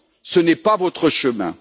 Ce n'est pas votre chemin.